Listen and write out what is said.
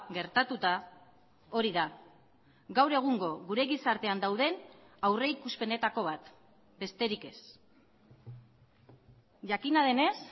gertatuta hori da gaur egungo gure gizartean dauden aurrikuspenetako bat besterik ez jakina denez